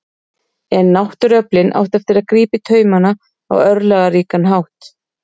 en náttúruöflin áttu eftir að grípa í taumana á örlagaríkan hátt